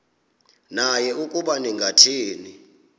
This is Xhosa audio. naye ukuba ningathini